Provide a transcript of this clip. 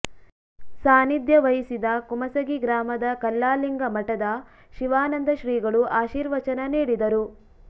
ಸಾನಿಧ್ಯ ವಹಿಸಿದ ಕುಮಸಗಿ ಗ್ರಾಮದ ಕಲ್ಲಾಲಿಂಗ ಮಠದ ಶಿವಾನಂದ ಶ್ರೀಗಳು ಆಶೀರ್ವಚನ ನೀಡಿದರು